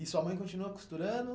E sua mãe continua costurando?